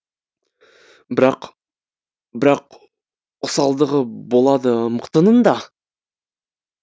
бірақ бірақ осалдығы болады мықтының да